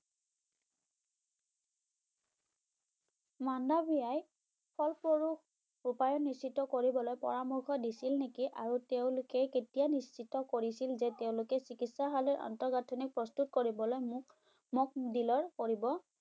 মাণ্ডাভিয়াই ফলস্বৰূপ উপায় নিশ্চিত কৰিবলৈ পৰামৰ্শ দিছিল নেকি আৰু তেওঁলোকে কেতিয়া নিশ্চিত কৰিছিল যে তেওঁলোকে চিকিৎসালয়ৰ আন্তঃগাঁথনি প্ৰস্তুত কৰিবলৈ মোক মোক দিলেও কৰিব